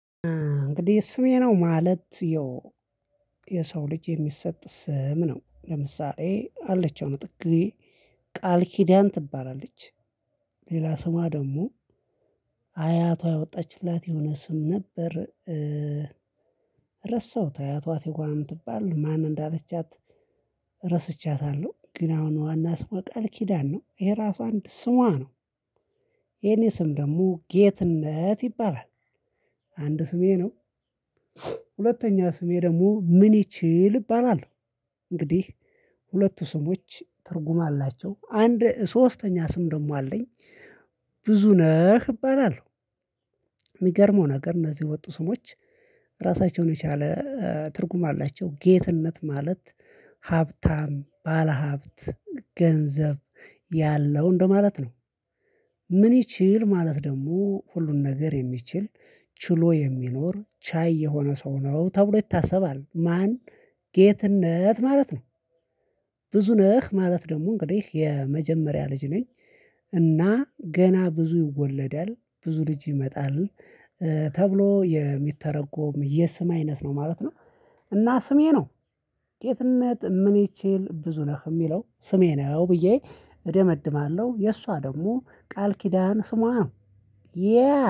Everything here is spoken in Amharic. እንግዲህ ስሜ ነው ማለት ያው የሰው ልጅ የሚሰጥ ስም ነው። ለምሳሌ አለች አሁን ጥጌ ቃል ኪዳን ትባላለች። ሌላ ስሟ ደግሞ አያቷ ያወጣችላት የሆነ ስም ነበር። ረሳሁት አያቷት ትጓን ትባል ማን እንዳለቻት ረስቻታለሁ። ግን አሁን ዋና ስሟ ቃል ኪዳን ነው የራሷ አንድ ስሟ ነው። የኔ ስም ደግሞ ጌትነት ይባላል። አንድ ስሜ ነው። ሁለተኛ ስሜ ደግሞ ምን ይችል እባላለሁ። እንግዲህ ሁለቱ ስሞች ትርጉም አላቸው አንድ ሶስተኛ ስም ደግሞ አለኝ። ብዙ ነህ እባላለሁ። ሚገርመው ነገር እነዚህ የወጡ ስሞች። ራሳቸውን የቻለ ትርጉም አላቸው ጌትነት ማለት ሀብታም ባለሀብት ገንዘብ ያለው እንደማለት ነው። ምን ይችል ማለት ደግሞ ሁሉን ነገር የሚችል ችሎ የሚኖር ቻይ የሆነ ሰው ነው ተብሎ ይታሰባል። ማን ጌትነት ማለት ነው። ብዙ ነህ ማለት ደግሞ እንግዲህ የመጀመሪያ ልጅ ነኝ። እና ገና ብዙ ይወለዳል ብዙ ልጅ ይመጣል። ተብሎ የሚተረጎም የስም አይነት ነው ማለት ነው። እና ስሜ ነው። ጌትነት ምን ይችል ብዙነህ እሚለው ስሜ ነው ብዬ እደመድማለሁ። የእሷ ደግሞ ቃል ኪዳን ስሟ ነው። ያ